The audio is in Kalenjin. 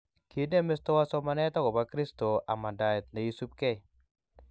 Kinem mestowat somanet akobo kristo amandaet nesubi kei